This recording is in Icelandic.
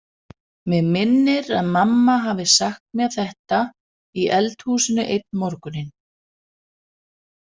Mig minnir að mamma hafi sagt mér þetta í eldhúsinu einn morguninn.